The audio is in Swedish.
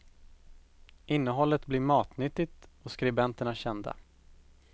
Innehållet blir matnyttigt och skribenterna kända.